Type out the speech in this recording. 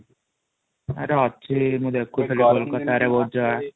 ଆରେ ଅଛି ମୁଁ ଦେଖୁଥିଲି କୋଲକାତା ରେବହୁତ ଜାଗା